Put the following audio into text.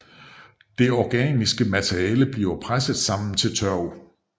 Det organiske materiale bliver presset sammen til tørv